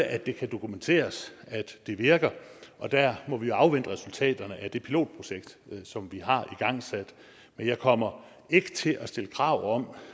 at det kan dokumenteres at det virker og der må vi afvente resultaterne af det pilotprojekt som vi har igangsat men jeg kommer ikke til at stille krav om